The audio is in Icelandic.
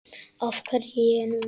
Af hverju ég núna?